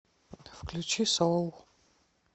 включи соул